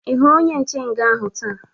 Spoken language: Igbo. Ị hụrụ onye nche nga ahụ taa?